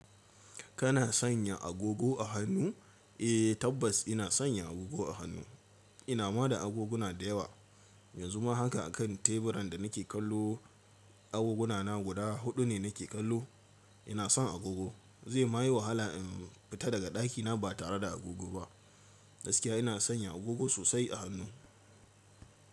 Kana sanya agogo a hannu? Eh tabbas ina sanya agogo a hannu. Ina ma da agoguna da yawa. Yanzu ma haka a kan teburan da nake kallo agoguna na guda huɗu ne nake kallo. Ina son agogo. Zai ma yi wahala in fita daga ɗakina ba tare da agogo ba. Gaskiya ina sanya agogo sosai a hannu.